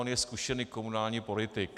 On je zkušený komunální politik.